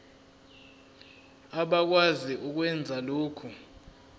abakwazi ukwenza lokhu